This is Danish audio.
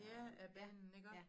Ja af banen iggå?